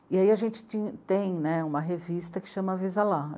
E aí a gente tinha, tem né, uma revista que se chama Avisa Lá.